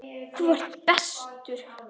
Þú ert bestur.